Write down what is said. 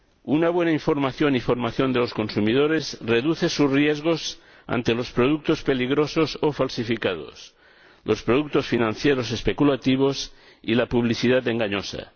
Una buena información y formación de los consumidores reduce sus riesgos ante los productos peligrosos o falsificados, los productos financieros especulativos y la publicidad engañosa.